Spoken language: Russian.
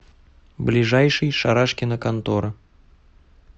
ближайший шарашкина контора